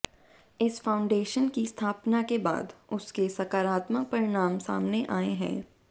इस फाउंडेशन की स्थापना के बाद उसके सकारात्मक परिणाम सामने आए हैं